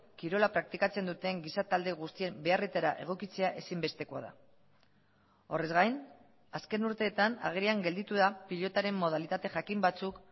kirola praktikatzen duten giza talde guztien beharretara egokitzea ezinbestekoa da horrez gain azken urteetan agerian gelditu da pilotaren modalitate jakin batzuk